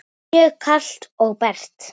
Mjög kalt og bert.